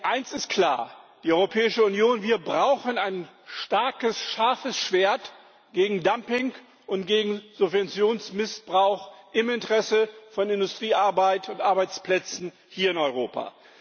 Eins ist klar Die Europäische Union braucht ein starkes, scharfes Schwert gegen Dumping und gegen Subventionsmissbrauch im Interesse von Industriearbeit und Arbeitsplätzen hier in Europa.